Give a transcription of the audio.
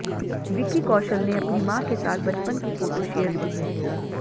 विक्की कौशल ने अपनी मां के साथ बचपन की फोटो शेयर की है